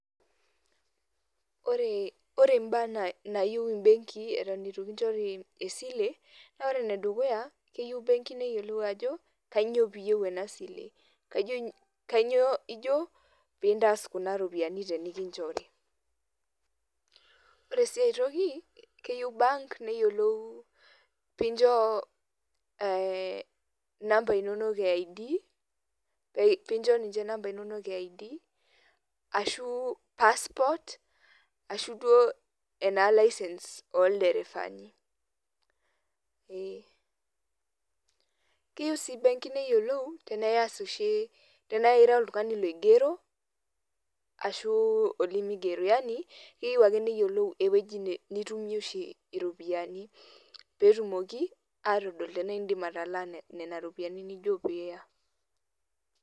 Ore mbaa nayieu ibenkii eton itu kinchori esile, naa ore enedukuya, keyieu benki neyiolou ajo, kanyioo piyieu enasile. Kanyioo ijo pintaas kuna ropiyiani tenikinchori. Ore si aitoki, keyieu bank neyiolou pincho inamba inonok e ID, pincho ninche inamba inonok e ID, ashu passport, ashu duo ena licence olderefani. Ee. Keyieu si benki neyiolou tenaa iyas oshi, tenaa ira oltung'ani loigero, ashu olimigero. Yani, keyieu ake neyiolou ewueji nitumie oshi iropiyiani, petumoki atodol tenaa idim atalaa nena ropiyiani nijo piya.